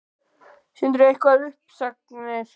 Sindri: Eitthvað um uppsagnir?